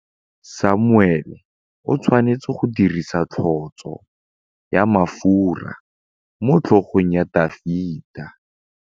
Samuele o tshwanetse go dirisa tlotsô ya mafura motlhôgong ya Dafita.